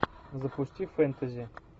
запусти фэнтези